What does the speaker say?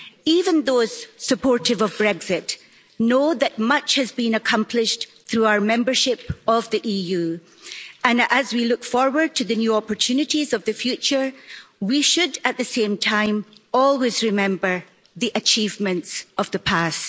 Even those supportive of Brexit know that much has been accomplished through our membership of the EU, and as we look forward to the new opportunities of the future, we should, at the same time, always remember the achievements of the past.